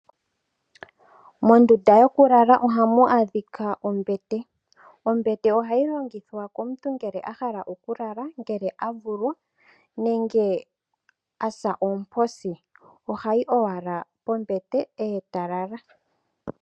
Mondunda yoku lala ohamu adhika ombete. Ombete ohayi longithwa komuntu ngele ahala oku lala, ngele avulwa nenge asa oomposi ohayi owala pombete eta lala.